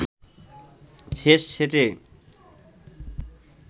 শেষ সেটে